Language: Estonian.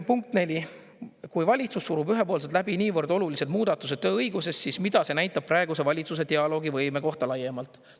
Punkt neli: "Kui valitsus surub ühepoolselt läbi niivõrd olulised muudatused tööõiguses, siis mida see näitab praeguse valitsuse dialoogivõime kohta laiemalt?